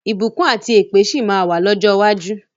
Ìbùkún àti èpè sì máa wà lọ́jọ́ iwájú.